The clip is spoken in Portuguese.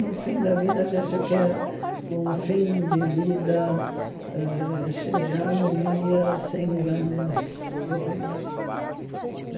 No fim da vida, a gente quer um fim de vida ãh cheio de harmonia, sem grandes problemas.